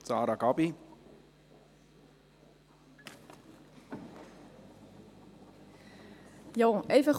Als Einzelsprecherin hat nun Sarah Gabi Schönenberger das Wort.